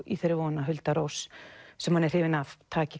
í þeirri von að Hulda Rós sem hann er hrifinn af taki